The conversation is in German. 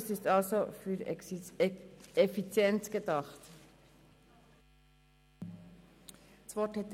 Der Weg wurde also im Interesse der Effizienz gewählt.